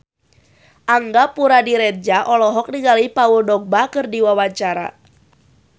Angga Puradiredja olohok ningali Paul Dogba keur diwawancara